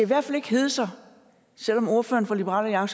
hvert fald ikke hedde sig selv om ordføreren for liberal